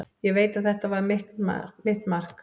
Ég veit að þetta var mitt mark.